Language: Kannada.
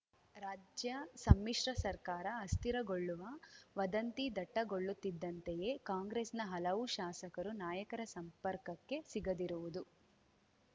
ರಾಜ್ಯ ಸಮ್ಮಿಶ್ರ ಸರ್ಕಾರ ಅಸ್ಥಿರಗೊಳ್ಳುವ ವದಂತಿ ದಟ್ಟಗೊಳ್ಳುತ್ತಿದ್ದಂತೆಯೇ ಕಾಂಗ್ರೆಸ್‌ನ ಹಲವು ಶಾಸಕರು ನಾಯಕರ ಸಂಪರ್ಕಕ್ಕೆ ಸಿಗದಿರುವುದು